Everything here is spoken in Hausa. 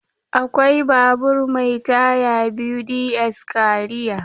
Akwai babur mai taya biyu ds kariya.